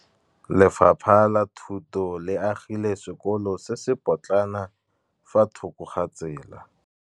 Lefapha la Thuto le agile sekôlô se se pôtlana fa thoko ga tsela.